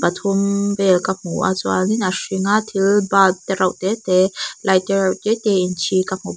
pathum vel ka hmu a chuain a hring a thil bulb te reuh te te light te reuh te te in chhi ka hmu bawk.